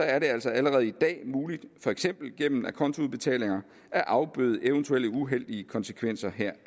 altså allerede i dag muligt for eksempel gennem acontoudbetalinger at afbøde eventuelle uheldige konsekvenser heraf